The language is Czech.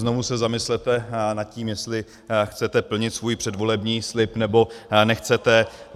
Znovu se zamyslete nad tím, jestli chcete plnit svůj předvolební slib, nebo nechcete.